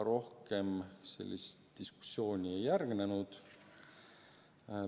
Rohkem sel teemal diskussiooni ei järgnenud.